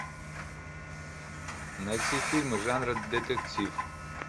найти фильмы жанра детектив